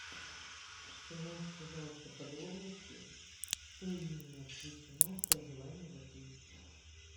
узнайте пожалуйста подробности что именно включено в проживание в отеле